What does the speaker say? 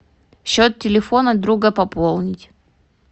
счет телефона друга пополнить